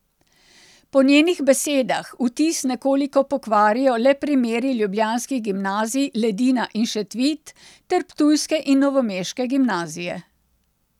Po njenih besedah vtis nekoliko pokvarijo le primeri ljubljanskih gimnazij Ledina in Šentvid ter ptujske in novomeške gimnazije.